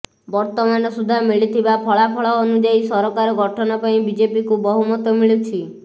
ବର୍ତ୍ତମାନ ସୁଦ୍ଧା ମିଳିଥିବା ଫଳାଫଳ ଅନୁଯାୟୀ ସରକାର ଗଠନ ପାଇଁ ବିଜେପିକୁ ବହୁମତ ମିଳୁଛି